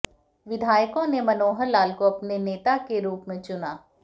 विधायकों ने मनोहर लाल को अपने नेता के रूप में चुना